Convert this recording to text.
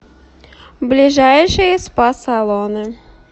ближайшие спа салоны